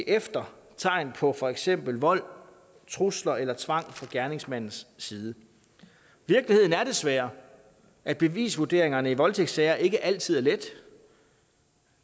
efter tegn på for eksempel vold trusler eller tvang fra gerningsmandens side virkeligheden er desværre at bevisvurdering i voldtægtssager ikke altid er let